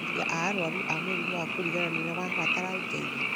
areri a arwaru a mũrimũ wa kũriganĩrwo nĩmabataraga ũteithio